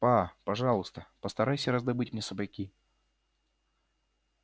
па пожалуйста постарайся раздобыть мне сапоги